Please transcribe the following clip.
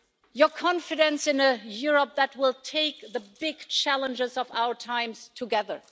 your confidence in a Europe that will take the big challenges of our times together.